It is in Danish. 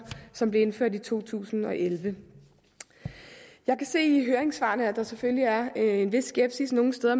som blev indført i to tusind og elleve jeg kan se i høringssvarene at der selvfølgelig er en vis skepsis nogle steder